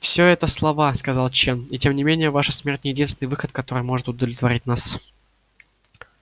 все это слова сказал чен и тем не менее ваша смерть не единственный выход который может удовлетворить нас